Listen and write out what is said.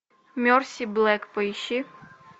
мерси блэк поищи